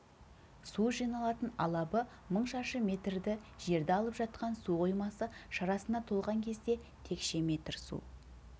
су жиналатын алабы мың шаршы метрді жерді алып жатқан су қоймасы шарасына толған кезде текше метр су